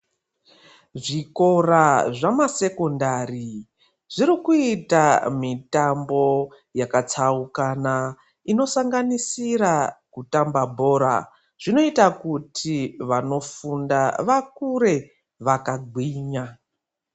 Zvikora zvama Sekondari zviri kuita mitambo yakatsaukana inosanganisira kutamba bhora, zvinoita kuti vanofunda vakure zvakagwinya.